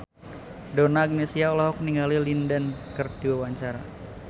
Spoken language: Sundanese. Donna Agnesia olohok ningali Lin Dan keur diwawancara